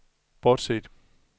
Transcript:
bortset